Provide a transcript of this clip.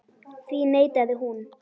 Því neitaði hún.